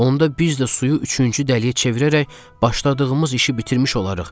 Onda biz də suyu üçüncü dəliyə çevirərək başladığımız işi bitirmiş olarıq.